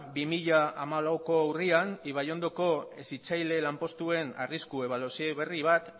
bi mila hamalauko urrian ibaiondoko hezitzaile lanpostuen arriskuen ebaluazio berri bat